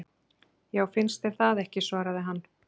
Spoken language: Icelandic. Já, finnst þér það ekki svaraði hann.